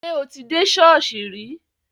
Ṣé o ti dé ṣọ́ọ̀ṣì rí?